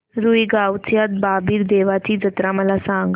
रुई गावच्या बाबीर देवाची जत्रा मला सांग